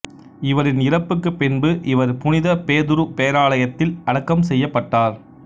இவரின் இறப்புக்குப் பின்பு இவர் புனித பேதுரு பேராலயத்தில் அடக்கம் செய்யப்பட்டார்